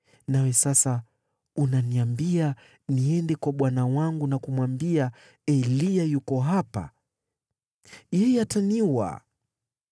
Nawe sasa unaniambia niende kwa bwana wangu na kumwambia, ‘Eliya yuko hapa.’ Yeye ataniua!”